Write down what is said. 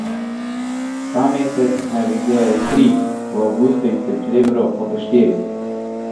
Ta mesec naj bi izdelali tri, v avgustu in septembru pa po štiri.